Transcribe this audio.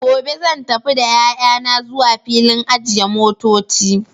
gobe zan tafi da yayana zuwa filin ajiye motoci.